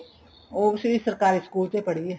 ਉਹ ਵੀ ਸਰਕਾਰੀ school ਚ ਈ ਪੜ੍ਹੀ ਏ